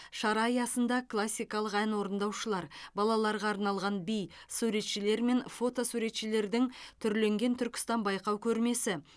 шара аясында классикалық ән орындаушылар балаларға арналған би суретшілер мен фото суретшілердің түрленген түркістан байқау көрмесі